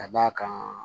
Ka d'a kan